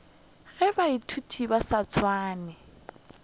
ge baithuti ba sa swane